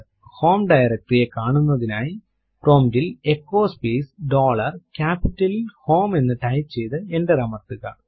home directory കാണുന്നതിനായി prompt ൽ echo space dollar ക്യാപിറ്റലിൽ ഹോം എന്ന് ടൈപ്പ് ചെയ്തു എന്റർ അമർത്തുക